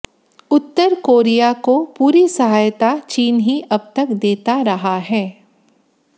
उतर कोरिया को पूरी सहायता चीन ही अबतक देता रहा है